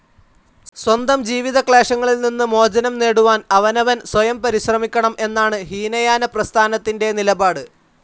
സ്വന്തം ജീവിതക്ലേശങ്ങളിൽ നിന്ന് മോചനം നേടുവാൻ അവനവൻ സ്വയം പരിശ്രമിക്കണം എന്നാണ് ഹീനയാനപ്രസ്ഥാനത്തിന്റെ നിലപാട്.